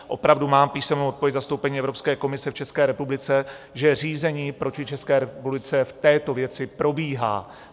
Opravdu mám písemnou odpověď v zastoupení Evropské komise v České republice, že řízení proti České republice v této věci probíhá.